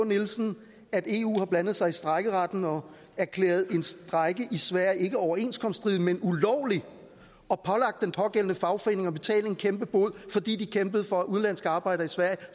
nielsen at eu har blandet sig i strejkeretten og erklæret en strejke i sverige ikke overenskomststridig men ulovlig og pålagt den pågældende fagforening at betale en kæmpe bod fordi de kæmpede for at udenlandske arbejdere i sverige